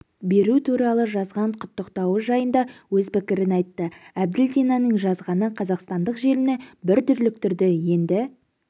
беру туралы жазған құттықтауы жайында өз пікірін айтты әбділдинаның жазғаны қазақстандық желіні бір дүрліктірді енді